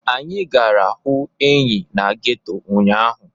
Anyị gara hụ enyi na geto ụnyaahụ.